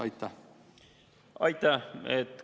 Aitäh!